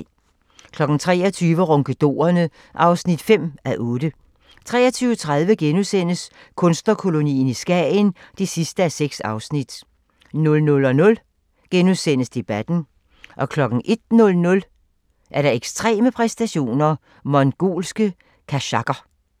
23:00: Ronkedorerne (5:8) 23:30: Kunstnerkolonien i Skagen (6:6)* 00:00: Debatten * 01:00: Ekstreme præstationer: Mongolske kazakher